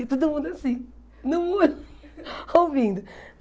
E todo mundo assim, no muro, ouvindo.